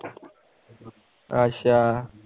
ਅੱਛਾ